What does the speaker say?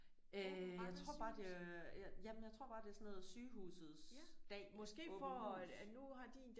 Øh jeg tror bare det ja jamen jeg tror bare det er sådan noget sygehusets dag åbent hus